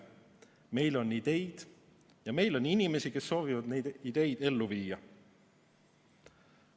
Meil on ideid ja meil on inimesi, kes soovivad neid ideid ellu viia.